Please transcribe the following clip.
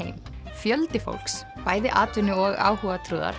fjöldi fólks bæði atvinnu og